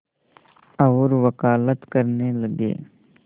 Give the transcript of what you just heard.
और वक़ालत करने लगे